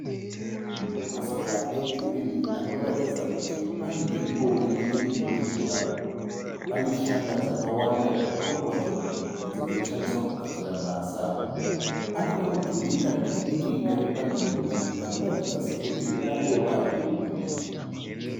Masora e girinhi anoratidza kuti panzvimbo inenge ine mvura. Pane shanga dzakawanda zvikuru kwazvo idzo dzinoshandiswa kugadzira mhasa. Panekamudhuri kadiki diki kari panzvimbo iyi kanoratidza sekuti ringa ngove riri bhiriji